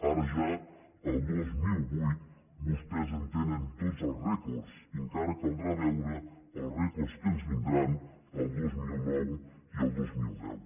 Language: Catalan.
ara ja al dos mil vuit vostès en tenen tots els rècords i encara caldrà veure els rècords que ens vindran el dos mil nou i el dos mil deu